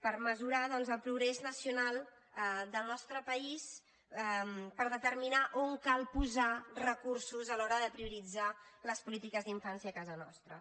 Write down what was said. per mesurar doncs el progrés nacional del nostre país per determinar on cal posar recursos a l’hora de prioritzar les polítiques d’infància a casa nostra